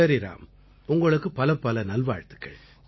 சரி ராம் உங்களுக்குப் பலப்பல நல்வாழ்த்துக்கள்